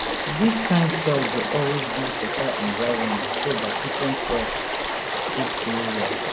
dis kind soil dey always give beta environment so dat different crops fit grow well